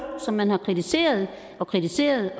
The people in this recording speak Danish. som man har kritiseret og kritiseret